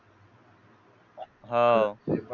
हाव